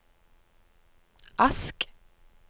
Ask